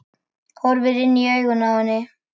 Horfir inn í augun á henni.